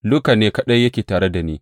Luka ne kaɗai yake tare da ni.